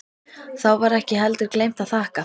Þá var ekki heldur gleymt að þakka.